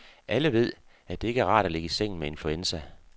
Alle ved, at det ikke er rart at ligge i sengen med influenza.